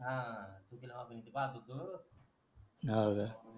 हां चुकीला माफी नाही ते पाहत होत